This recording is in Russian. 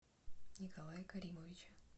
николая каримовича